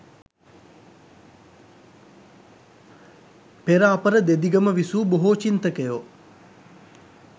පෙර අපර දෙදිගම විසූ බොහෝ චින්තකයෝ